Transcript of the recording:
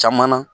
Caman na